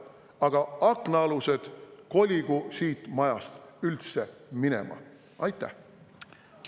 Aga aknaalused koligu siit majast üldse minema!